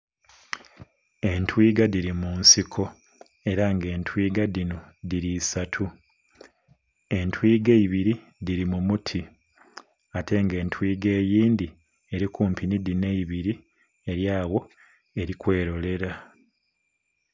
Entwiga dhiri munsiko era nga etwiga dhino dhiri isatu, entwiga eibiri dhiri mu muti ate nga etwiga eyindhi eri kumpi nhi dhino eibiri eri agho eri kwerolera.